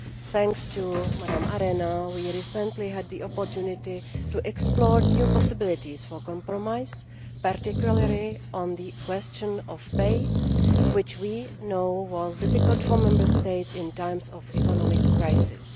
Thanks to Mrs Arena, we recently had the opportunity to explore new possibilities for compromise, particularly on the question of pay, which we know was difficult for Member States in times of economic crisis.